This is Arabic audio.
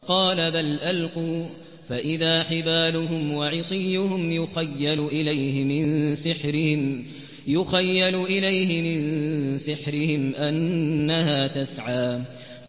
قَالَ بَلْ أَلْقُوا ۖ فَإِذَا حِبَالُهُمْ وَعِصِيُّهُمْ يُخَيَّلُ إِلَيْهِ مِن سِحْرِهِمْ أَنَّهَا تَسْعَىٰ